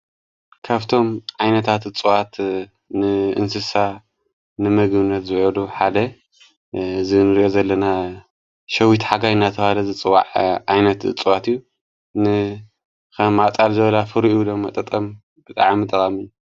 ካፍቶም ዓይነታት እፁዋት ንእንስሳ ንመግብነት ዘዉዕሉ ሓደ ዘንር ዘለና ሸዊት ሓጋይ ናታ ዋደ ዘፅዋዕ ኣይነት ጽዋት እዩ ንኸ ዓዕፃል ዘበላ ፍሩ እዩ ዶመጠጠም ብጠዓመ ጠባሚን።